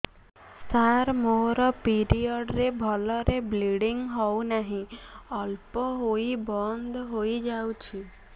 ସାର ମୋର ପିରିଅଡ଼ ରେ ଭଲରେ ବ୍ଲିଡ଼ିଙ୍ଗ ହଉନାହିଁ ଅଳ୍ପ ହୋଇ ବନ୍ଦ ହୋଇଯାଉଛି